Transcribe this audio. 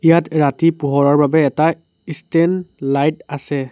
ইয়াত ৰাতি পোহৰৰ বাবে এটা ইষ্টেণ্ড লাইট আছে।